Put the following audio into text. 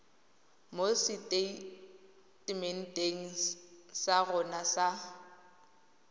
mo seteitementeng sa rona sa